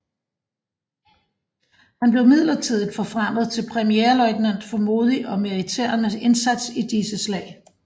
Han blev midlertidigt forfremmet til premierløjtnant for modig og meriterende indsats i disse slag